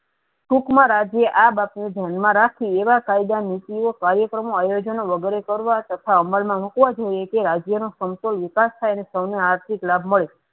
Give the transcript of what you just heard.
સુખ મા રાજી આ બાત ને ધ્યાન મા રાખી એવા કાયદા નીતિયો કાર્યક્રમો આયોજનો વગેરે કરવા તથા અમલ મા મુકવા જોયીયે તે રાજ્યો ને સંતો ને વિકાસ થાય ને સૌ ને આર્થીક લાભ મળે.